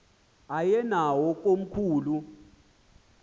aye nawo komkhulu